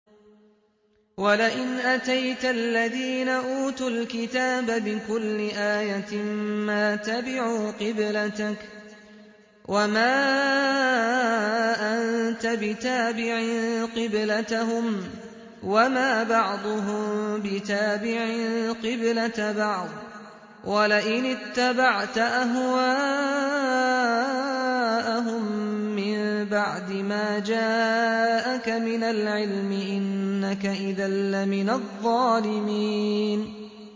وَلَئِنْ أَتَيْتَ الَّذِينَ أُوتُوا الْكِتَابَ بِكُلِّ آيَةٍ مَّا تَبِعُوا قِبْلَتَكَ ۚ وَمَا أَنتَ بِتَابِعٍ قِبْلَتَهُمْ ۚ وَمَا بَعْضُهُم بِتَابِعٍ قِبْلَةَ بَعْضٍ ۚ وَلَئِنِ اتَّبَعْتَ أَهْوَاءَهُم مِّن بَعْدِ مَا جَاءَكَ مِنَ الْعِلْمِ ۙ إِنَّكَ إِذًا لَّمِنَ الظَّالِمِينَ